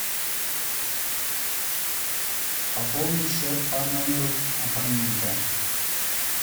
пополнить счет по номеру абонента